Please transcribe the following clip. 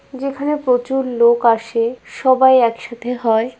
যেখানে প্রচুর লোক আসে সবাই একসাথে হয়।